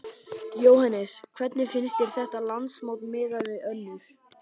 Jóhannes: Hvernig finnst þér þetta landsmót miðað við önnur?